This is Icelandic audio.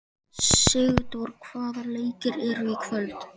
Sigdór, hvaða leikir eru í kvöld?